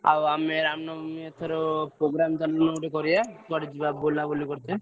ଆଉ ଆମେ ଆମମାନେ ଏଥର programme ଚାଲୁନ ଗୋଟେ କରିଆ କୁଆଡେ ଯିବା ବୁଲାବୁଲି କରିତେ।